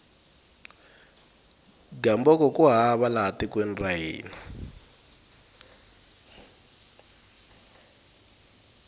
gamboko ku hava laha tekweni ra hina